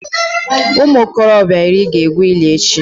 Ụmụ okorobịa iri ga-egwu ili echi